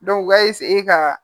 u ka ka